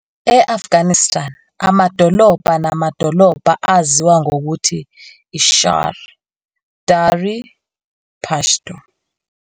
E- Afghanistan, amadolobha namadolobha aziwa ngokuthi "shār", Dari - Pashto.